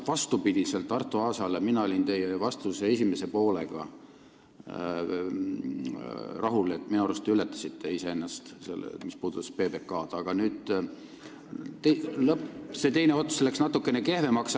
Vastupidi Arto Aasale olin mina teie vastuse esimese poolega rahul – minu arust te ületasite iseennast PBK koha pealt –, teine ots läks natuke kehvemaks.